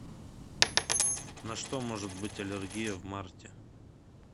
на что может быть аллергия в марте